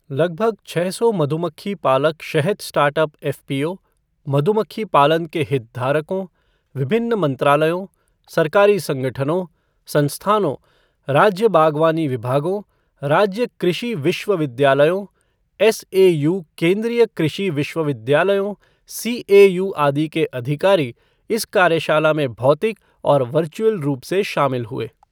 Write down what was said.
लगभग छः सौ मधुमक्खी पालक शहद स्टार्टअप एफ़पीओ, मधुमक्खी पालन के हितधारकों, विभिन्न मंत्रालयों सरकारी संगठनों संस्थानों, राज्य बागवानी विभागों, राज्य कृषि विश्वविद्यालयों, एसएयू केंद्रीय कृषि विश्वविद्यालयों सीएयू आदि के अधिकारी इस कार्यशाला में भौतिक और वर्चुअली रूप से शामिल हुए।